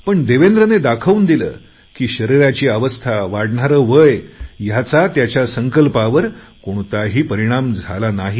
पण देवेंद्रने दाखवून दिले की शरीराची अवस्था वाढणारे वय ह्याचा त्याच्या संकल्पावर कोणताही परिणाम झाला नाही